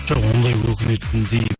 жоқ ондай өкінетіндей